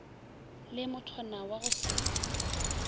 le mothwana wa go se